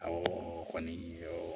o kɔni